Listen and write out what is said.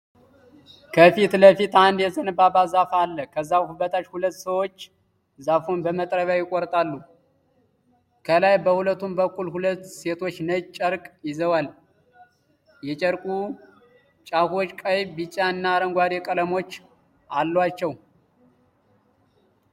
ከፊት ለፊት አንድ የዘንባባ ዛፍ አለ። ከዛፉ በታች ሁለት ሰዎች ዛፉን በመጥረቢያ ይቆርጣሉ። ከላይ በሁለቱም በኩል ሁለት ሴቶች ነጭ ጨርቅ ይዘዋል። የጨርቁ ጫፎች ቀይ፣ ቢጫ እና አረንጓዴ ቀለሞች አሏቸው።